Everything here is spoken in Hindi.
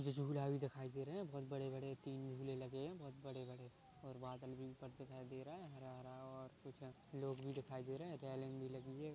मुझे झूला भी दिखाई दे रहे हैं बहुत बड़े-बड़े तीन झूले लगे हैं बहुत बड़े बड़े और बादल भी ऊपर दिखाई दे रहा हैं हरा हरा और-- कुछ लोग भी दिखाई दे रहे हैं रेलिंग भी लगी है ।